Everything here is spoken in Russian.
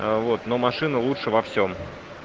вот но машина лучше во всем